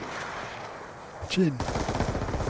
Kinn